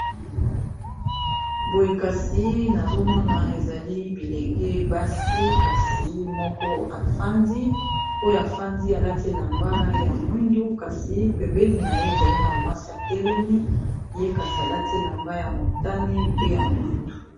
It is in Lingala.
boye kasi nazomona ezali bilenge basi kasi moko afandi oyo afandi alati elamba ya mwindu kasi pembeni na ye ezali na mwasi ya telemi ye kasi alati elamba ya motane pe ya mwindu